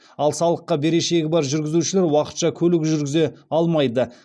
ал салыққа берешегі бар жүргізушілер уақытша көлік жүргізе алмайды